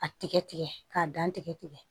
A tigɛ tigɛ k'a gan tigɛ tigɛ